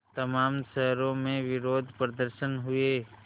तमाम शहरों में विरोधप्रदर्शन हुए